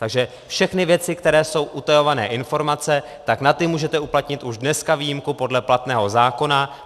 Takže všechny věci, které jsou utajované informace, tak na ty můžete uplatnit už dneska výjimku podle platného zákona.